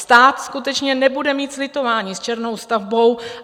Stát skutečně nebude mít slitování s černou stavbou.